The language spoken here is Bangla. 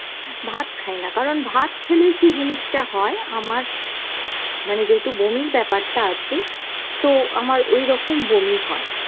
ভাত খাইনা কারণ ভাত খেলেই কি জিনিষটা হয় আমার মানে যেহেতু বমির ব্যাপারটা আছে তো আমার ওইরকম বমি হয় ।